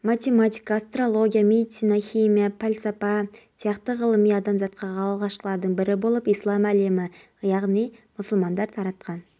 елорда әкімдігінің ахуал орталығы таратқан ақпаратқа сәйкес маусым күні сағат сарыарқа ауданының пионерская көшесі абай даңғылы